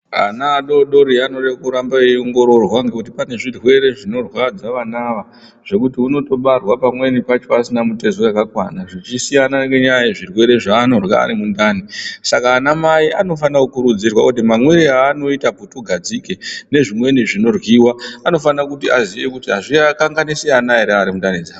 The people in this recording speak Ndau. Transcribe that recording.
Vana vadori dori vanod3 kuramba veiongororwa ngekuti zvirwere zvinorwadza vana ava, zvekuti unotobarwa pamweni pacho asine mitezo yakakwana, zvichisiyana ngenyaya yezvirwere zvaanorya ari mundani. Saka anamai anofana kukurudzirwa muti mamwire aanoita putugadzike nezvimweni zvinoryiwa anofana kuti aziye kutizvino.